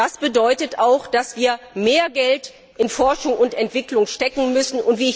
Das bedeutet auch, dass wir mehr Geld in Forschung und Entwicklung stecken müssen.